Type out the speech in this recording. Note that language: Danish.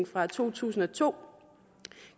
fra to tusind og to